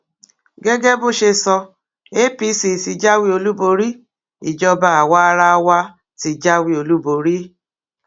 gẹgẹ bó ṣe sọ apc tí jáwé olúborí ìjọba àwaarawa ti jáwé olúborí